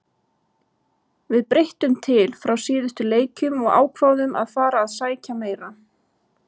Við breyttum til frá síðustu leikjum og ákváðum að fara að sækja meira.